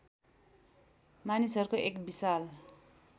मानिसहरूको एक विशाल